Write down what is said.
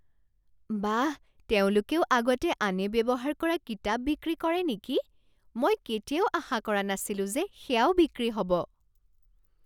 বাহ! তেওঁলোকেও আগতে আনে ব্যৱহাৰ কৰা কিতাপ বিক্ৰী কৰে নেকি? মই কেতিয়াও আশা কৰা নাছিলো যে সেয়াও বিক্ৰী হ'ব।